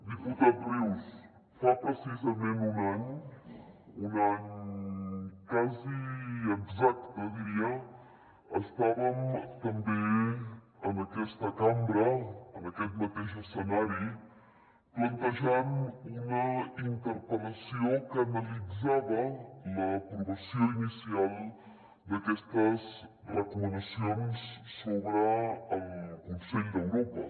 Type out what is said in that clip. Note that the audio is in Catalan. diputat rius fa precisament un any un any quasi exacte diria estàvem també en aquesta cambra en aquest mateix escenari plantejant una interpel·lació que analitzava l’aprovació inicial d’aquestes recomanacions sobre el consell d’europa